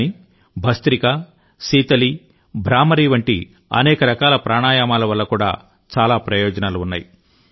కానీ భస్త్రికా శీతలి భ్రామరి వంటి అనేక రకాల ప్రాణాయామాల వల్ల కూడా చాలా ప్రయోజనాలు ఉన్నాయి